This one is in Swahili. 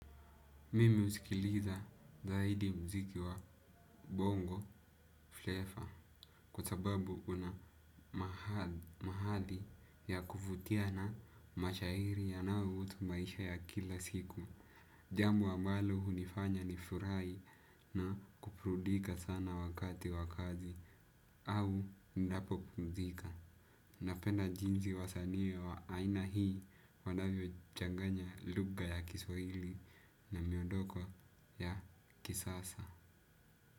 Mimi husikiliza zaidi mziki wa bongo flavour kwa sababu una mahali ya kuvutia na mashairi yanayohusu maisha ya kila siku. Jambo ambalo hunifanya nifurahi na kuburudika sana wakati wa kazi au ninapopumzika. Napenda jinsi wasanii wa aina hii wanavyochanganya lugha ya kiswahili na miondoko ya kisasa.